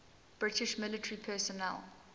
british military personnel